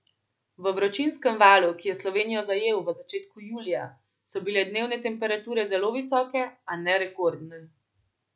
V vročinskem valu, ki je Slovenijo zajel v začetku julija, so bile dnevne temperature zelo visoke, a ne rekordne.